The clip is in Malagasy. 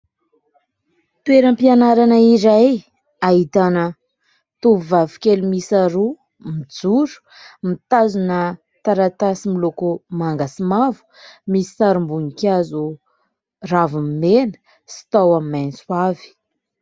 Toeram-pianarana iray, ahitana tovovavy kely miisa roa, mijoro ; mitazona taratasy miloko manga sy mavo, misy sarim-boninkazo raviny mena sy tahony maitso avy.